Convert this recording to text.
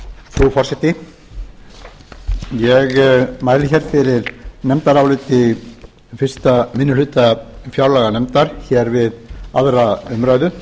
frú forseti ég mæli fyrir nefndaráliti fyrsti minni hluta fjárlaganefndar við aðra umræðu